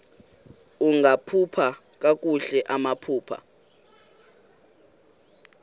ungakhupha kakuhle amaphepha